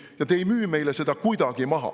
Ja te ei müü meile seda kuidagi maha.